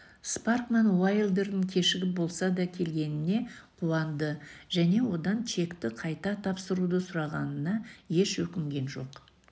спаркман уайлдердің кешігіп болса да келгеніне қуанды және одан чекті қайта тапсыруды сұрағанына еш өкінген жоқ